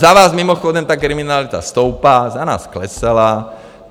Za vás mimochodem ta kriminalita stoupá, za nás klesala.